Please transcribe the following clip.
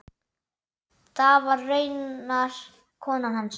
Það var raunar konan hans.